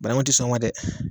bananku tɛ sɔn o ma dɛ